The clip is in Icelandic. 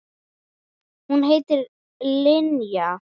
Hún heitir Linja.